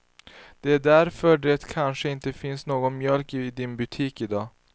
Det är därför det kanske inte finns någon mjölk i din butik i dag.